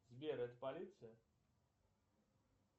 сбер это полиция